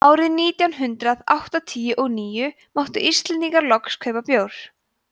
árið nítján hundrað áttatíu og níu máttu íslendingar loks kaupa bjór